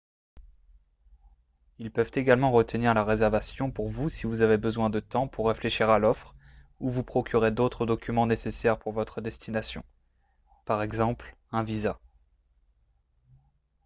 ils peuvent également retenir la réservation pour vous si vous avez besoin de temps pour réfléchir à l'offre ou vous procurer d'autres documents nécessaires pour votre destination par exemple un visa